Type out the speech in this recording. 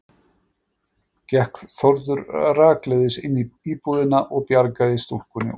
Gekk Þórður rakleiðis inn í íbúðina og bjargaði stúlkunni út.